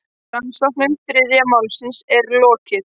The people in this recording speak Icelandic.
Rannsókn þriðja málsins er lokið.